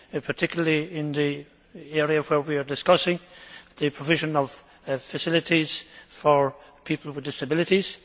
particularly in the area where we are discussing the provision of facilities for people with disabilities?